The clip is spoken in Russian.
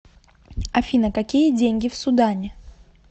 афина какие деньги в судане